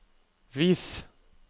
vis